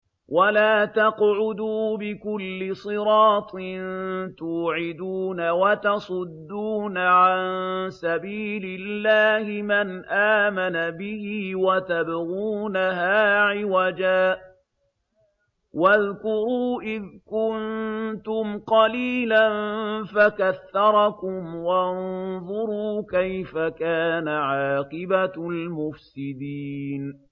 وَلَا تَقْعُدُوا بِكُلِّ صِرَاطٍ تُوعِدُونَ وَتَصُدُّونَ عَن سَبِيلِ اللَّهِ مَنْ آمَنَ بِهِ وَتَبْغُونَهَا عِوَجًا ۚ وَاذْكُرُوا إِذْ كُنتُمْ قَلِيلًا فَكَثَّرَكُمْ ۖ وَانظُرُوا كَيْفَ كَانَ عَاقِبَةُ الْمُفْسِدِينَ